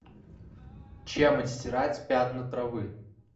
чем отстирать пятна травы